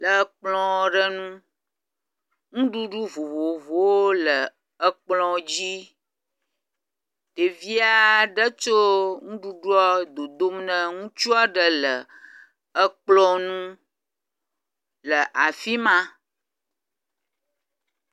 Le kpɔ ɖe ŋu. nuɖuɖu vovovowo le ekplɔ dzi. Ɖevi aɖe tso nuɖuɖua dodom ne ŋutsu aɖe le ekplɔ nu le afi ma.